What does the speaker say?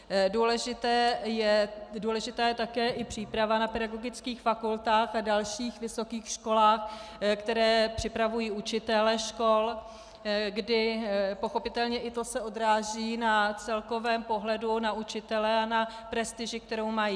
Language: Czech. Důležitá je také i příprava na pedagogických fakultách a dalších vysokých školách, které připravují učitele škol, kdy pochopitelně i to se odráží na celkovém pohledu na učitele a na prestiži, kterou mají.